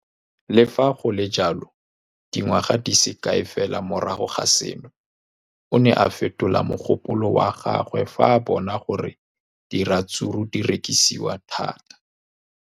Le fa go le jalo, dingwaga di se kae fela morago ga seno, o ne a fetola mogopolo wa gagwe fa a bona gore diratsuru di rekisiwa thata.